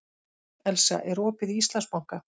Elsa, er opið í Íslandsbanka?